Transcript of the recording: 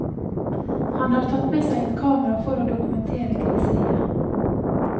Han har tatt med seg et kamera for å dokumentere griseriet.